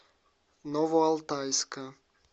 новоалтайска